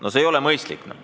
No see ei ole mõistlik.